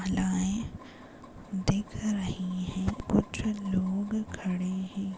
मला ए दिख रही है। कुछ लोग खड़े है।